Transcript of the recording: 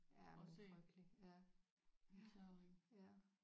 Ja men det er frygteligt ja så øh ja